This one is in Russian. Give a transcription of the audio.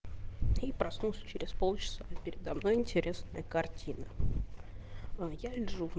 и прослушать через полчаса передо мной интересные картины я лежу